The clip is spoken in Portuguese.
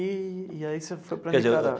E e aí você foi para a Nicarágua?